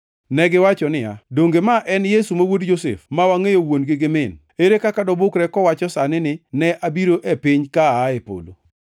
Negiwacho niya, “Donge ma en Yesu, ma wuod Josef, ma wangʼeyo wuon gi min? Ere kaka dobukre kowacho sani ni, ‘Ne abiro e piny ka aa e polo’ ?”